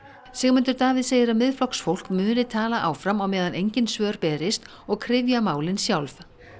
Sigmundur Davíð segir að Miðflokksfólk muni tala áfram á meðan engin svör berist og kryfja málin sjálf